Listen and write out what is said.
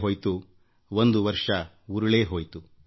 ಇಡೀ ವರ್ಷ ಕಳೆದಿದೆಯಲ್ಲ